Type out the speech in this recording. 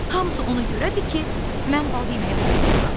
Hamısı ona görədir ki, mən bal yeməyi xoşlayıram.